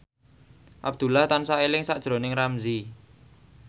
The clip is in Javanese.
Abdullah tansah eling sakjroning Ramzy